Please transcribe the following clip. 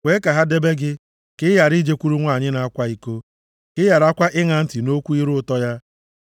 Kwee ka ha debe gị, ka ị ghara ijekwuru nwanyị na-akwa iko, ka ị gharakwa ịṅa ntị nʼokwu ire ụtọ ya.